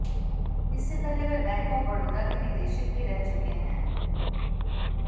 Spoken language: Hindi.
इससे पहले वह बैंक ऑफ बड़ौदा के निदेशक भी रह चुके हैं